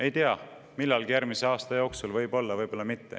Ei tea, millalgi järgmise aasta jooksul võib-olla, võib-olla mitte.